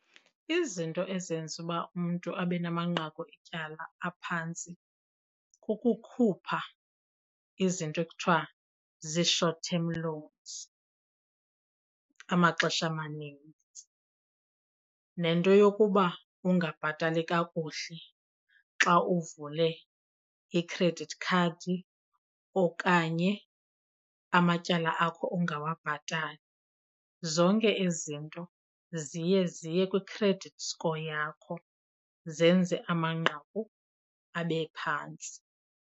Izinto ezenza uba umntu abe namanqaku etyala aphantsi kukukhupha izinto ekuthiwa zii-short term loans amaxesha amanintsi, nento yokuba ungabhatali kakuhle xa uvule i-credit card okanye amatyala akho ungawabhatali. Zonke ezi zinto ziye ziye kwi-credit score yakho zenze amanqaku abe phantsi.